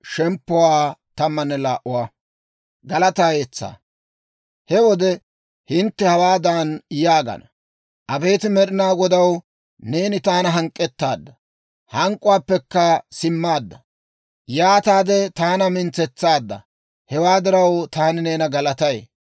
He wode hintte hawaadan yaagana: «Abeet Med'inaa Godaw, neeni taana hank'k'ettaadda; hank'k'uwaappekka simmaadda; yaataade taana mintsetsaadda. Hewaa diraw, taani neena galatay.